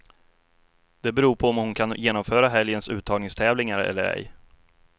Det beror på om hon kan genomföra helgens uttagningstävlingar eller ej.